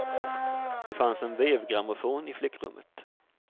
Det fanns en vevgrammofon i flickrummet.